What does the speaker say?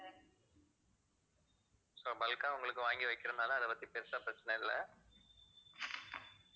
so bulk ஆ உங்களுக்கு வாங்கி வைக்கிறதுனால அதை பத்தி பெருசா பிரச்சனை இல்லை